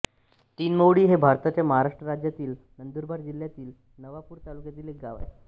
तिनमौळी हे भारताच्या महाराष्ट्र राज्यातील नंदुरबार जिल्ह्यातील नवापूर तालुक्यातील एक गाव आहे